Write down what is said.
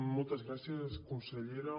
moltes gràcies consellera